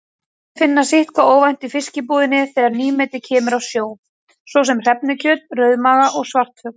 Hægt er að finna sitthvað óvænt í fiskbúðinni þegar nýmeti kemur af sjó, svo sem hrefnukjöt, rauðmaga og svartfugl.